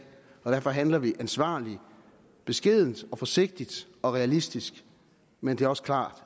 og derfor handler vi ansvarligt beskedent forsigtigt og realistisk men det er også klart